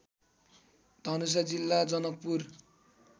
धनुषा जिल्ला जनकपुर